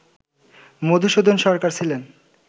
মধুসূদন সরকার ছিলেন